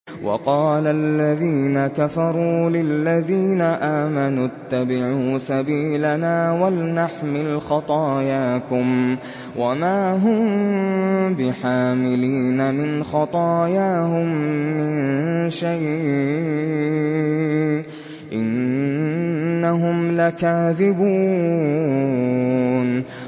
وَقَالَ الَّذِينَ كَفَرُوا لِلَّذِينَ آمَنُوا اتَّبِعُوا سَبِيلَنَا وَلْنَحْمِلْ خَطَايَاكُمْ وَمَا هُم بِحَامِلِينَ مِنْ خَطَايَاهُم مِّن شَيْءٍ ۖ إِنَّهُمْ لَكَاذِبُونَ